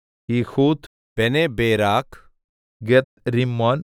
Jehud Beneberak Gathrimmon